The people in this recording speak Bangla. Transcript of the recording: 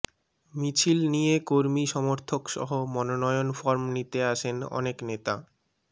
মিছিল নিয়ে কর্মী সমর্থকসহ মনোনয়ন ফরম নিতে আসেন অনেক নেতা